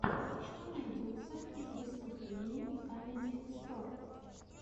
что найдется из выступлений камеди стор